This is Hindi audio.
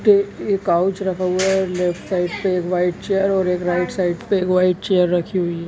यहाँ पे एक काउच रखा हुआ है लेफ्ट साइड पे एक व्हाइट चेयर और एक राइट साइड पे एक व्हाइट चेयर रखी हुई है।